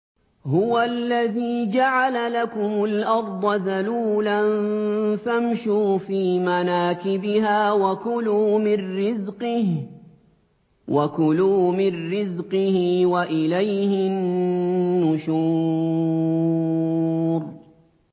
هُوَ الَّذِي جَعَلَ لَكُمُ الْأَرْضَ ذَلُولًا فَامْشُوا فِي مَنَاكِبِهَا وَكُلُوا مِن رِّزْقِهِ ۖ وَإِلَيْهِ النُّشُورُ